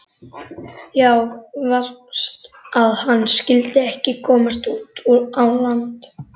Já, verst að hann skyldi ekki komast út á land.